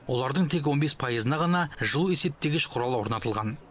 олардың тек он бес пайызына ғана жылу есептегіш құралы орнатылған